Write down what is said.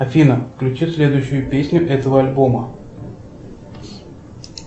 афина включи следующую песню этого альбома